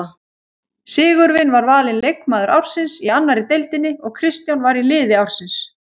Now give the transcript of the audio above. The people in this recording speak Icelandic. Sigurvin var valinn leikmaður ársins í annarri deildinni og Kristján var í liði ársins.